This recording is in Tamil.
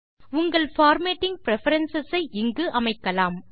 உங்கள் பார்மேட்டிங் பிரெஃபரன்ஸ் ஐ இங்கு அமைக்கலாம்